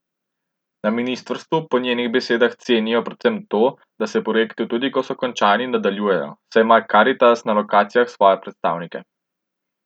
Na ministrstvu po njenih besedah cenijo predvsem to, da se projekti, tudi ko so končani, nadaljujejo, saj ima Karitas na lokacijah svoje predstavnike.